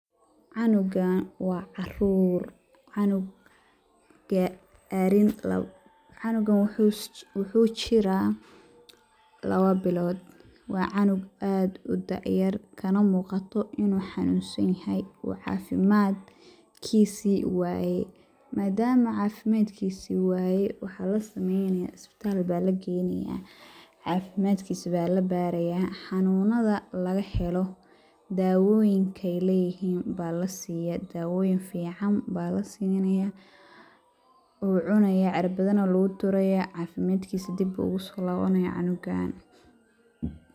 Canugaan waa caruur, canugan waxuu jiraa lawa bilood , waa canug aad u da' yar kana muuqato inuu xanuun san yahay uu cafimadkisii wayay ,madama cafimadkisii wayay ,waxey la sameynayaa isbitaal baa la geynayaa ,cafimadkisa baa la barayaa ,xanunada laga helo ,dawoyinka ay leyihiin baa la sinaya, daawoyin fiican baa la sinaya ,wuu cunayaa cirabadana lagu durayaa ,cafimadkiisa dib ugusoo lawanayaa cunugaan.